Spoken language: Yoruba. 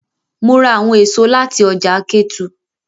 Mo ra awọn eso lati ọja Ketu